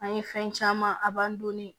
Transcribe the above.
An ye fɛn caman a b'an donni